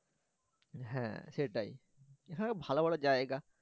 হ্যাঁ সেটাই হ্যাঁ ভালো ভালো জায়গা।